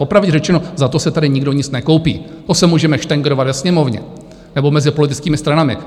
Popravdě řečeno, za to si tady nikdo nic nekoupí, to se můžeme štengrovat ve Sněmovně nebo mezi politickými stranami.